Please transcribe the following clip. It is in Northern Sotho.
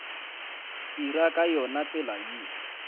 dira ka yona tsela ye